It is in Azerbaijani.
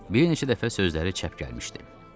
Bir neçə dəfə sözləri çəp gəlmişdi.